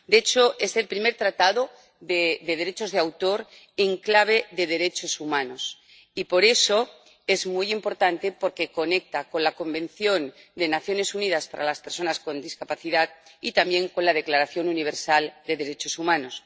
De hecho, es el primer tratado de derechos de autor en clave de derechos humanos, y por eso es muy importante, porque conecta con la Convención de Naciones Unidas sobre los Derechos de las Personas con Discapacidad y también con la Declaración Universal de Derechos Humanos.